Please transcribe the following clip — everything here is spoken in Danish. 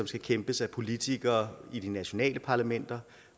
skal kæmpes af politikere i de nationale parlamenter